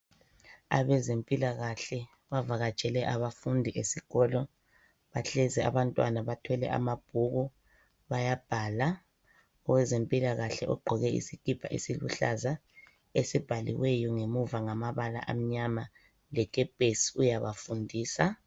Abezempilakahle bavakatshele abafundi esikolo, bahlezi abantwana bathwele amabhuku bayabhala. Owezempilakahle ogqoke isikipa esiluhlaza esibhaliweyo ngemuva ngamabala amnyama lekepesi uyabafundisa.